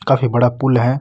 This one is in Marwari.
काफी बड़ा पूल है।